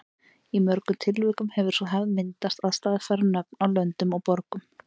Í mörgum tilvikum hefur sú hefð myndast að staðfæra nöfn á löndum og borgum.